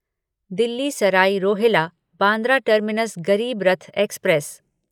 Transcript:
Delhi Sarai Rohilla Bandra terminus Garib Rath express